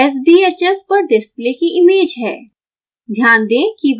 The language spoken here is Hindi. यहाँ sbhs पर डिस्प्ले की इमेज है